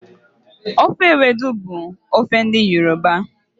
Ofe ewedu bụ ofe ndị Yoruba.